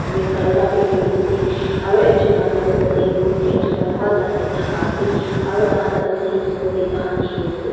red colour para paint kurina ase aru ekjun manu toh tate buhine ekjun manu pra taike dhaka ase aru taikhan tate seesaw te taikhan khili ase.